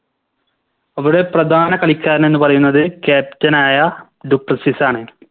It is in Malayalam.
അവിടെ പ്രധാന കളിക്കാരൻ എന്ന് പറയുന്നത് Captain ആയ ഡു പ്ലസീസ് ആണ്